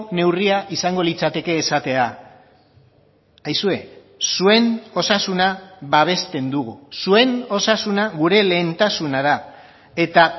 neurria izango litzateke esatea aizue zuen osasuna babesten dugu zuen osasuna gure lehentasuna da eta